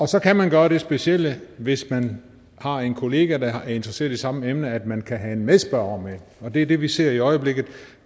så kan man gøre det specielle hvis man har en kollega der er interesseret i samme emne at man kan have en medspørger med og det er det vi ser i øjeblikket